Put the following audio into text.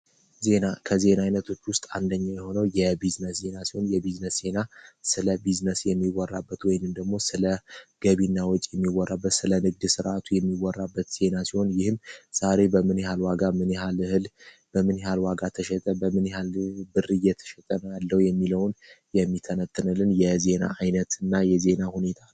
ዜና ከዜና ዓይነቶች ውስጥ አንደኛ የሆነው የቢዝነስ ዜና ሲሆን የቢዝነስ ዜና ስለ ቢዝነስ የሚወራበት ወይን እንደግሞ ስለ ገቢና ወጭ የሚወራበት ስለ ንግድ ሥርዓቱ የሚወራበት ዜና ሲሆን ይህም ዛሬ በምንሃልዋጋ ምንሃልህል በምንሃል ዋጋ ተሸጠ በምንሃ ብርየተሸጠነ ያለው የሚለውን የሚተነትንልን የዜና ዓይነት እና የዜና ሁኔታ ነው።